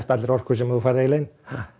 allri orku sem þú færð inn